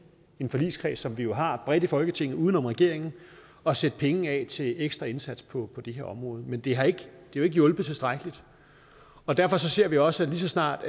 en forligskreds som vi jo har bredt i folketinget uden om regeringen at sætte penge af til ekstra indsats på det her område men det har ikke hjulpet tilstrækkeligt og derfor ser vi også at lige så snart